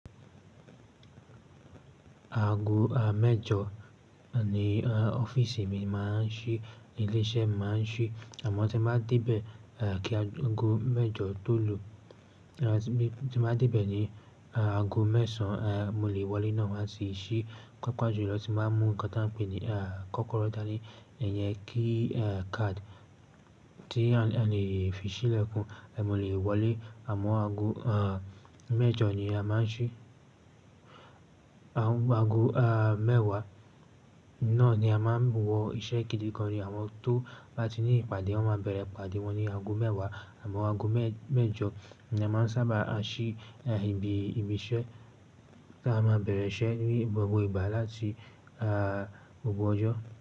Aago à mẹ́jọ ni ọ́fíìsì mi máa ń ṣí, ní ilé iṣẹ́ máa ń ṣí. Àmọ́ tí n bá dé bẹ̀ kí aago mẹ́jọ tó lù, tí n bá dé bẹ̀ ní aago mẹ́sàn án, mo lẹ́ wọlé náà wá n ti ṣí. Papa jú lọ tí n bá mú nǹkan ta ń pè ní kọ́kọ́rọ́ dani, iyẹn key card tí a lè fi ṣílẹ̀kùn. Mo lè wọlé àmọ́ aago à mẹ́jọ ni a máa ń ṣí. Aago à mẹ́wàá náà ni a máa ń wọ iṣẹ́ kìdì gan ni àwọn tó bá ti ní ìpàdé wọ́n máa bẹ̀rẹ̀ ìpàdé wọn ní aago mẹ́wàá. Àmọ́ aago mẹ́jọ ni a máa ń sábà a ṣí ibi ìṣe ta máa bẹ̀rẹ̀ iṣẹ́ ní gbogbo ìgbà láti gbogbo ọjọ́.